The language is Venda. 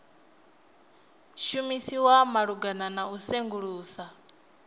shumiswa malugana na u sengulusa